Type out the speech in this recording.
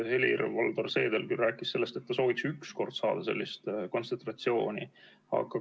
Helir-Valdor Seeder küll rääkis sellest, et ta sooviks üks kord saada sellist kontsentratsiooni.